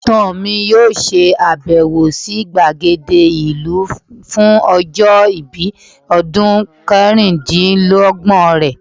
ibatan mi yoo se abewo si gbagede ilu fun ojo ibi odun karundinlogbon re